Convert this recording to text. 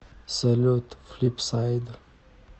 салют флипсайд